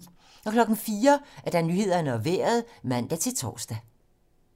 04:00: Nyhederne og Vejret (man-tor)